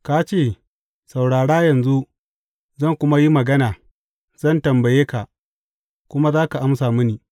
Ka ce, Saurara yanzu, zan kuma yi magana zan tambaye ka, kuma za ka amsa mini.’